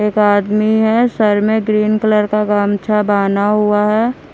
एक आदमी है सर में ग्रीन कलर का गमछा बांधा हुआ है।